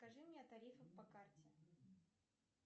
расскажи мне о тарифах по карте